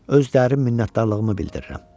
Öz dərin minnətdarlığımı bildirirəm.